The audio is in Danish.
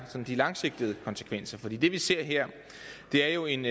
sådan langsigtede konsekvenser for det vi ser her er jo en